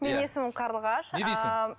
менің есімім қарлығаш ыыы